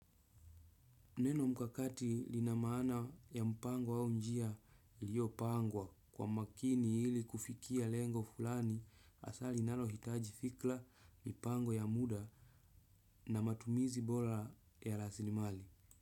Neno mkakati lina maana ya mpango au njia iliyopangwa kwa makini ili kufikia lengo fulani asa linalohitaji fikra mpango ya muda na matumizi bola ya lasilimali.